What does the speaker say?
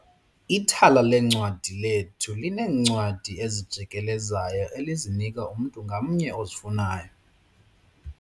Ithala leencwadi lethu lineencwadi ezijikelezayo elizinika umntu ngamnye ozifunayo.